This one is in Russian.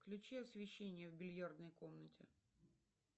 включи освещение в бильярдной комнате